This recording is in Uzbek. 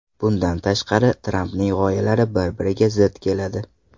Bundan tashqari, Trampning g‘oyalari bir-biriga zid keladi.